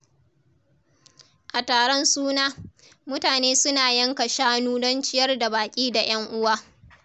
A taron suna, mutane suna yanka shanu don ciyar da baƙi da ‘yan uwa.